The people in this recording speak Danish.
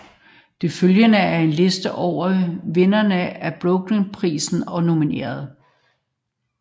Det følgende er en liste over vindere af Bookerprisen og nominerede